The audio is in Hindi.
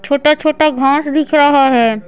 छोटा-छोटा घास दिख रहा है।